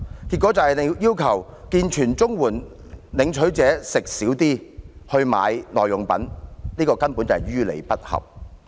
結果便是要求健全綜援領取者少吃一點來購買耐用品，這根本是於理不合。